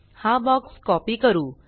हा box copy करू